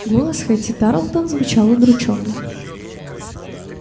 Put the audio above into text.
голос хэтти тарлтон звучал удручённо